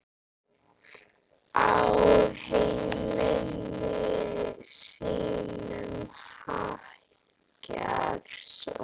Á himni sínum hækkar sól.